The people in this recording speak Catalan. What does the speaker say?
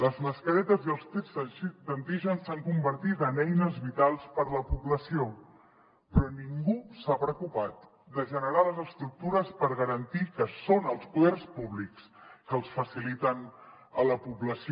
les mascaretes i els tests d’antígens s’han convertit en eines vitals per a la població però ningú s’ha preocupat de generar les estructures per garantir que són els poders públics els que els faciliten a la població